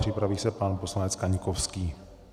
Připraví se pan poslanec Kaňkovský.